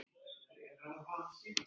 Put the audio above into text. Ég reikaði niður að sjó.